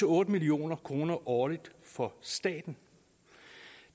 otte million kroner årligt for staten